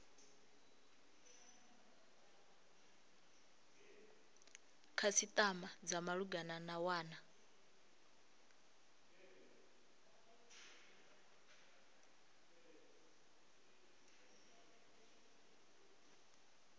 khasitama dza malugana na wana